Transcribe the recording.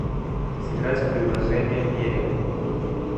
сыграть в приложение мерем